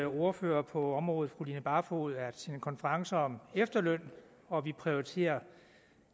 ordfører på området fru line barfod er til en konference om efterløn og vi prioriterer